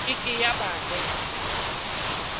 ke ke ya ba le